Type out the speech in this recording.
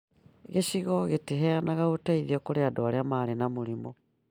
Gĩcigo gĩtiheanaga ũteithio kũrĩ andũ arĩa marĩ na mũrimũ